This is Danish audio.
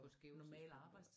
På skæve tidspunkter